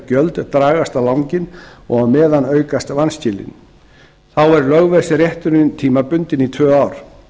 gjöldin dragast á langinn og á meðan aukast vanskilin þá er lögveðsrétturinn tímabundinn í tvö ár